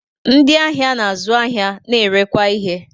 Ndị ahịa na-azụ ahịa na-erekwa ihe